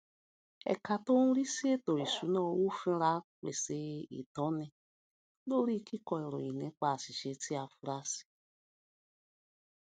ẹka tó ń rí sí ètò ìṣúnná owó finra pèsè ìtọni lórí kíkọ ìròyìn nípa àṣìṣe tí a fura sí